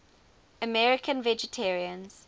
american vegetarians